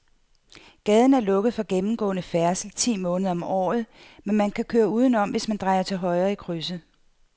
Gaden er lukket for gennemgående færdsel ti måneder om året, men man kan køre udenom, hvis man drejer til højre i krydset.